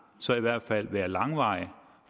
så i hvert fald være langvarig